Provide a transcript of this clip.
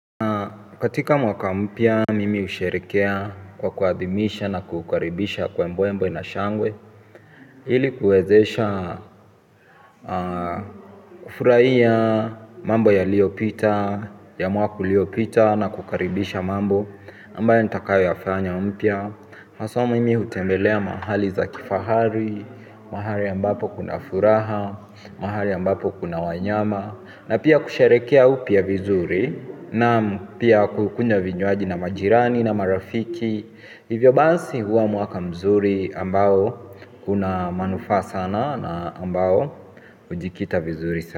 Katika mwaka mpya, mimi husherehekea kwa kuadhimisha na kuukaribisha kwa mbwe mbwe na shangwe ili kuezesha kufurahia mambo yaliopita, ya mwaka uliopita na kukaribisha mambo ambayo nitakayo yafanya mpya haswa mimi hutembelea mahali za kifahari, mahali ya ambapo kuna furaha, mahali ya ambapo kuna wanyama. Na pia kusherehekea upya vizuri na pia kukunwa vinywaji na majirani na marafiki. Hivyo basi huwa mwaka mzuri ambao kuna manufaa sana na ambao hujikita vizuri sana.